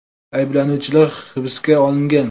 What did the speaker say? Ayblanuvchilar hibsga olingan.